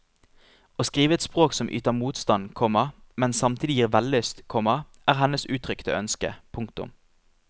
Å skrive et språk som yter motstand, komma men samtidig gir vellyst, komma er hennes uttrykte ønske. punktum